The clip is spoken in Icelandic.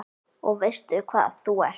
Og veistu hvað þú ert?